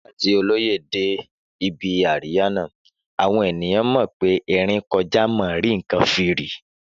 Nígbà tí olóyè dé ibi àríyá náà, àwọn ènìyàn mọ̀ pé erin kọjá mo rí nǹkan fìrí